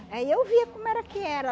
Aí eu via como era que era.